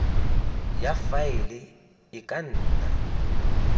ya faele e ka nna